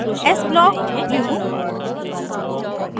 s blockblue